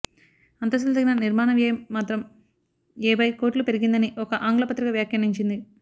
అంతస్తులు తగ్గినా నిర్మాణ వ్యయం మాత్రంఏభై కోట్లు పెరిగిందని ఒక ఆంగ్ల పత్రిక వ్యాఖ్యానించింది